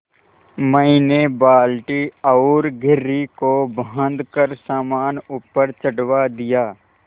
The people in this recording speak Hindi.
मैंने बाल्टी और घिर्री को बाँधकर सामान ऊपर चढ़वा दिया